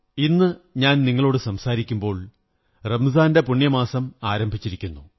ഇന്ന് ഞാൻ നിങ്ങളോടു സംസാരിക്കുമ്പോൾ പുണ്യമാസമായ റംസാൻ ആരംഭിച്ചിരിക്കുന്നു